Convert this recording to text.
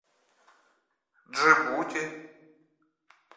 джибути